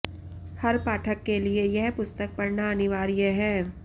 हर पाठक के लिए यह पुस्तक पढऩा अनिवार्य है